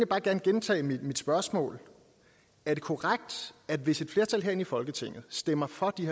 bare gerne gentage mit spørgsmål er det korrekt at hvis et flertal herinde i folketinget stemmer for de